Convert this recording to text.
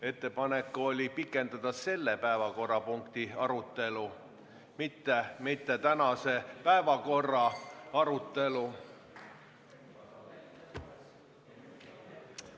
Ettepanek oli pikendada selle päevakorrapunkti arutelu, mitte tänase päevakorra arutelu.